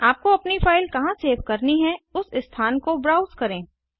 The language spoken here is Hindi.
आपको अपनी फ़ाइल कहाँ सेव करनी है उस स्थान को ब्राउज़ करें